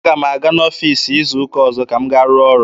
Aga m aga n'ọfiisi izu ụka ọzọ ka m gaa rụọ ọrụ.